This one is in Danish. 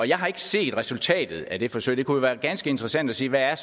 jeg har ikke set resultatet af det forsøg men det kunne være ganske interessant at se hvad